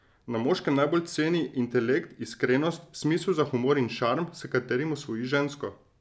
Na moškem najbolj ceni intelekt, iskrenost, smisel za humor in šarm, s katerim osvoji žensko.